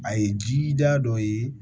A ye ji diya dɔ ye